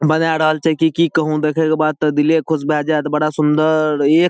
बनाए रहल छै की कहु देखें के बाद ते दिले खुश भेए जाएत बड़ा सुन्दर ए --